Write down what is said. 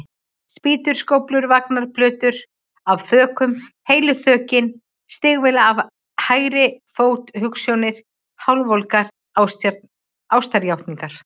Spýtur, skóflur, vagnar, plötur af þökum, heilu þökin, stígvél á hægri fót, hugsjónir, hálfvolgar ástarjátningar.